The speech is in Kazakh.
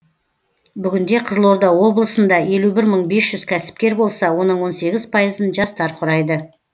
бүгінде қызылорда облысында елу бір мың бес жүз кәсіпкер болса оның он сегіз пайызын жастар құрайды